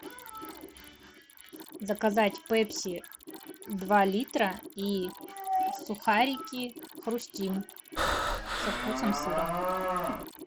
заказать пепси два литра и сухарики хрустим со вкусом сыра